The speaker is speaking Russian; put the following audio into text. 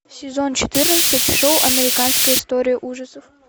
сезон четырнадцать шоу американская история ужасов